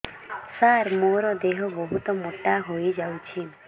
ସାର ମୋର ଦେହ ବହୁତ ମୋଟା ହୋଇଯାଉଛି